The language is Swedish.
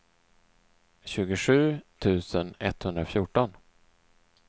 tjugosju tusen etthundrafjorton